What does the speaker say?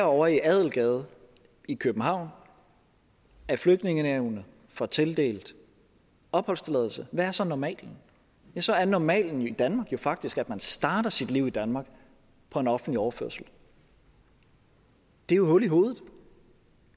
ovre i adelgade i københavn af flygtningenævnet får tildelt opholdstilladelse hvad er så normalen så er normalen i danmark jo faktisk at man starter sit liv i danmark på en offentlig overførsel det er jo hul i hovedet